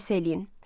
Müqayisə eləyin.